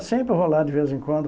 Sempre vou lá de vez em quando